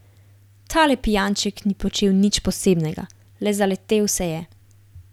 Tale pijanček ni počel nič posebnega, le zaletel se je.